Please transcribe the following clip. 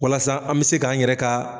Walasa an bɛ se k'an yɛrɛ ka